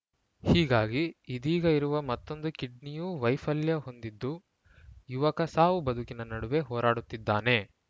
ಹೀಗಾಗಿ ಇದೀಗ ಇರುವ ಮತ್ತೊಂದು ಕಿಡ್ನಿಯೂ ವೈಫಲ್ಯ ಹೊಂದಿದ್ದು ಯುವಕ ಸಾವುಬದುಕಿನ ನಡುವೆ ಹೋರಾಡುತ್ತಿದ್ದಾನೆ